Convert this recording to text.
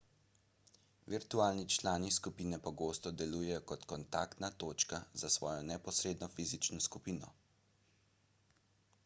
virtualni člani skupine pogosto delujejo kot kontaktna točka za svojo neposredno fizično skupino